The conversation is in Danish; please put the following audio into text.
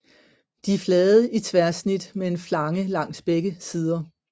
De er flade i tværsnit med en flange langs begge sider